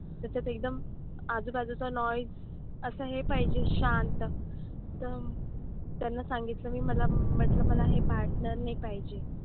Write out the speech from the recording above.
त्याच्यात एकदम आजूबाजूचा noise असं हे पाहिजे शांत. तर त्याला सांगितलं मी मला म्हंटलं मला हे partner नाही पाहिजे.